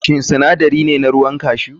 Shin sinadari ne na ruwan cashew?